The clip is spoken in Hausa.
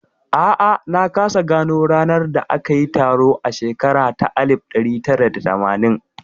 A'a, na kasa gano ranar da aka yi taron a shekara ta alif ɗari tara da tamanin